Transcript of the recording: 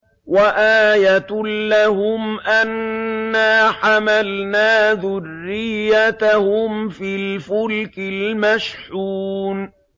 وَآيَةٌ لَّهُمْ أَنَّا حَمَلْنَا ذُرِّيَّتَهُمْ فِي الْفُلْكِ الْمَشْحُونِ